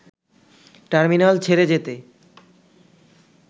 terminal ছেড়ে যেতে